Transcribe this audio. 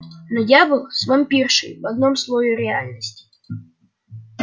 но я был с вампиршей в одном слое реальности